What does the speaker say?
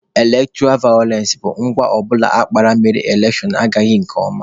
Elektọra vayọlensị bụ agwa ọbụla akpara mere na elekshon agaghị nke ọma.